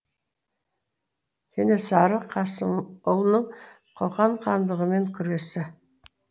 кенесары қасымұлының қоқан хандығымен күресі